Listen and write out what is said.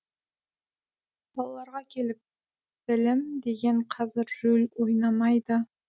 балаларға келіп білім деген қазір рөл ойнамайды